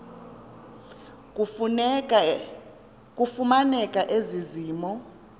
kufumaneke ezi mo